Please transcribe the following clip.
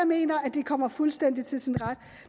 mener at det kommer fuldstændig til sin ret